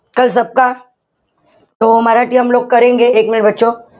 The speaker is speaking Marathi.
minute